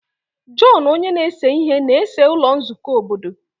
John onye na-ese ihe na-ese ụlọ nzukọ obodo.